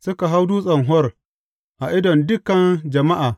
Suka hau Dutsen Hor a idon dukan jama’a.